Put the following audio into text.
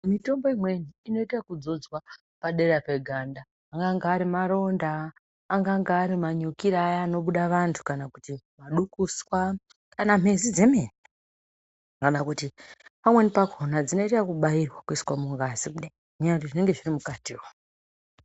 Mitombo imweni inoite ekudzodzwa padera peganda anganga arimaronda anganga arimanyukira Aya anobuda vantu kana kuti madukuswa kana mezi dzemene kana kuti pamweni pakona dzinoita ekubairwa kuiswa mungazi kudai ngenyaya yekuti zvinonga zvirimukati.